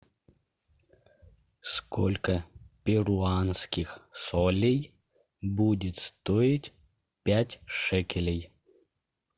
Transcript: сколько перуанских солей будет стоить пять шекелей